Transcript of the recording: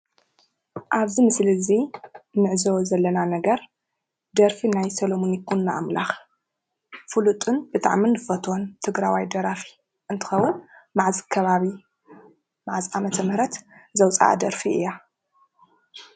ኣብዚ ምስሊ እዙይ እንዕዘቦ ዘለና ነገር ደርፊ ናይ ሰለሙን ይኩኖኣምላክ ፉሉጥን ብጣዕሚ እንፈትዎን ትግራዋይ ደራፊ እንትከውን መዓዝ ከባቢ መዓዝ ዓመተምህረት ዘውፃኣ ደርፊ እያ?